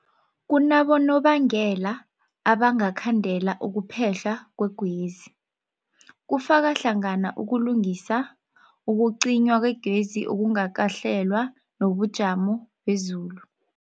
Kunabonobangela abangakhandela ukuphehlwa kwegezi, kufaka hlangana ukulungisa, ukucinywa kwegezi okungakahlelwa, nobujamo bezulu.